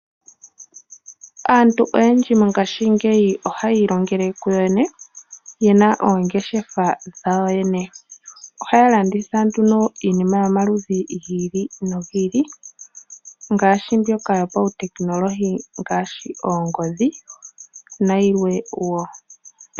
Aantu oyendji mongaashi ngeyi ohayi ilongele kuyoyene yena oongeshefa dhawo yoyene. Ohaya landitha iinima yomaludhi gi ili nogi ili ngaashi mbyoka yopawu technology ngaashi oongodhi nayilwe.